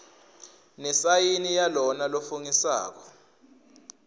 nesayini yalona lofungisako